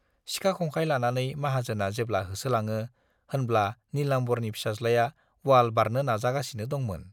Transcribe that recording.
सिखा-खंखाय लानानै माहाजोना जेब्ला होसोलाङो होनब्ला नीलाम्बरनि फिसाज्लाया वाल बारनो नाजागासिनो दंमोन।